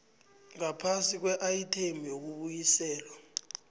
ngaphasi kweayithemu yokubuyiselwa